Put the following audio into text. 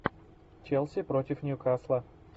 челси против ньюкасла